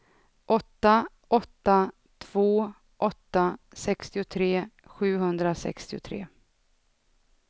åtta åtta två åtta sextiotre sjuhundrasextiotre